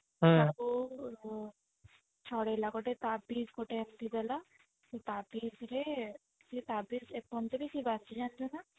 ତାକୁ ଛଡେଇଲା ଗୋଟେ ତାବିଜ ଗୋଟେ ଏମତି ଦେଲା ସେ ତାବିଜ ରେ ସେ ତାବିଜ ଏପର୍ଯ୍ୟନ୍ତ ବି ସେ ବାନ୍ଧିଛି ଜାଣିଛୁ ନା